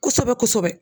Kosɛbɛ kosɛbɛ